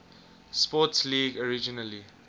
sports league originally